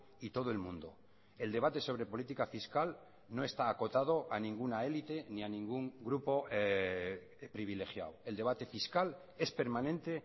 y todo el mundo el debate sobre política fiscal no está acotado a ninguna élite ni a ningún grupo privilegiado el debate fiscal es permanente